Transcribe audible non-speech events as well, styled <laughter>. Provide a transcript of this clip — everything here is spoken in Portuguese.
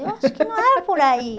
<laughs> Eu acho que não é por aí.